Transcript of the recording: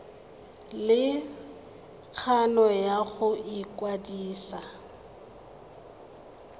le kgano ya go ikwadisa